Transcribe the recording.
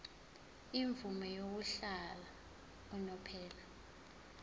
imvume yokuhlala unomphela